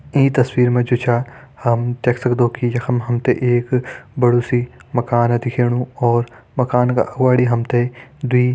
ईं तस्वीर मा जु छा हम देख सक्दों की यखम हम ते एक बड़ू सी मकान दिखेणु और मकान का अगवाड़ी हम ते दुई --